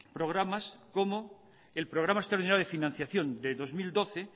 programas como el programa extraordinario de financiación de dos mil doce